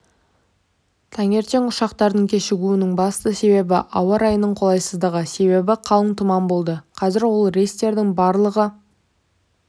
таңертең ұшақтардың кешігуінің басты себебі ауа райының қолайсыздығы себебі қалың тұман болды қазір ол рейстердің барлығы